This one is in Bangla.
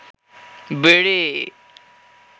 বিড়ি